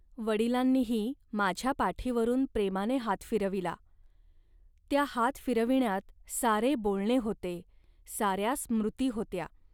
.वडिलांनीही माझ्या पाठीवरून प्रेमाने हात फिरविला. त्या हात फिरविण्यात सारे बोलणे होते, साऱ्या स्मृती होत्या